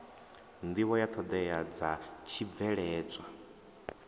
nḓivho ya ṱhoḓea dza tshibveledzwa